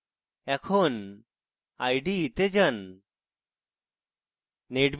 এখন ide তে যান